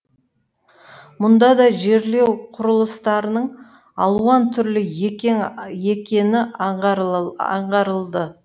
мұнда да жерлеу құрылыстарының алуан түрлі екені аңғарылды